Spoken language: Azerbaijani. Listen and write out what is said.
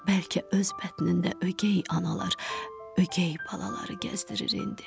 Bəlkə öz bətnində ögey analar, ögey balaları gəzdirir indi.